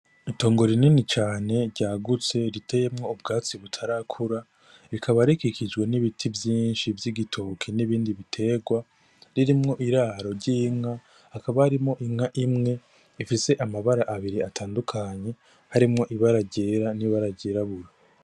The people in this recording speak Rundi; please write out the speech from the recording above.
Itongo rinini cane ryagutse riteyemwo ubwatsi butarakura rikaba rikikijwe n' ibiti vyinshi vy' igitoki n' ibindi bitegwa ririmwo iraro ry'inka hakaba harimwo inka imwe ifise amabara abiri atandukanye harimwo ibara ryera n' ibara ryirabura.